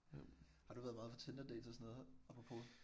Har du været meget på Tinderdates og sådan noget? Apropos